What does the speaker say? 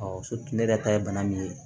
ne yɛrɛ ta ye bana min ye